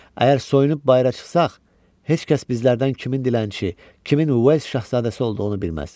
Əgər soyunub bayıra çıxsaq, heç kəs bizlərdən kimin dilənçi, kimin şahzadəsi olduğunu bilməz.